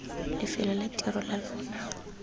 lefelong la tiro la lona